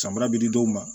San bara bɛ di dɔw ma